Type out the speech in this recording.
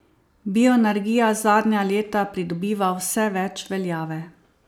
Bioenergija zadnja leta pridobiva vse več veljave.